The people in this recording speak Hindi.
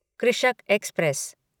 कृषक एक्सप्रेस